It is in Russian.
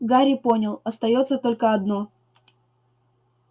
гарри понял остаётся только одно